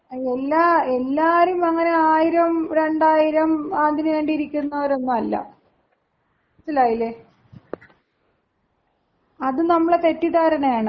എല്ലാ എല്ലാരും അങ്ങനെ ആയിരം രണ്ടായിരം അതിനുവേണ്ടി ഇരിക്കുന്നവരൊന്നുവല്ല. മനസ്സിലായില്ലേ? അത് നമ്മുടെ തെറ്റിദ്ധാരണയാണ്.